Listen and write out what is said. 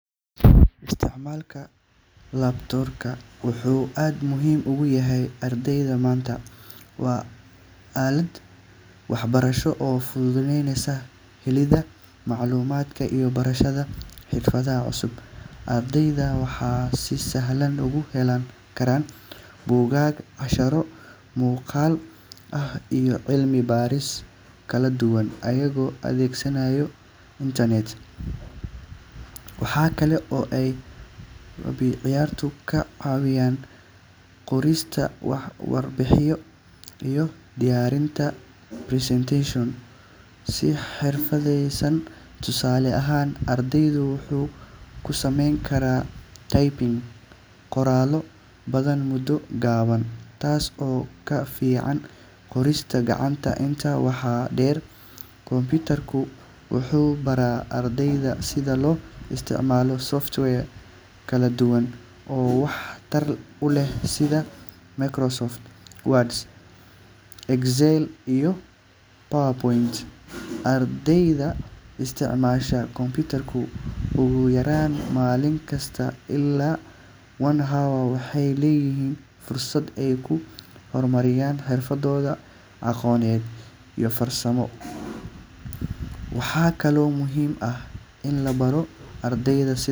Isticmaalka kombiyuutarka wuxuu aad muhiim ugu yahay ardayda maanta. Waa aalad waxbarasho oo fududaynaysa helidda macluumaadka iyo barashada xirfadaha cusub. Ardayda waxay si sahlan uga heli karaan buugaag, casharro muuqaal ah, iyo cilmi baaris kala duwan iyagoo adeegsanaya internet. Waxa kale oo ay kombiyuutarku ka caawiyaan qorista warbixino iyo diyaarinta presentations si xirfadeysan. Tusaale ahaan, ardaygu wuxuu ku samayn karaa typing qoraallo badan muddo gaaban, taas oo ka fiican qorista gacanta. Intaa waxaa dheer, kombiyuutarka wuxuu barayaa ardayda sida loo isticmaalo software kala duwan oo wax tar u leh sida Microsoft Word, Excel, iyo PowerPoint. Ardayda isticmaasha kombiyuutarka ugu yaraan maalin kasta ilaa one hour waxay leeyihiin fursad ay ku horumariyaan xirfadooda aqooneed iyo farsamo. Waxaa kaloo muhiim ah in la baro ardayda sida.